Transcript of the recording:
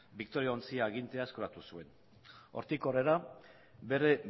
victoria ontzia agintean hartu zuen hortik aurrera bere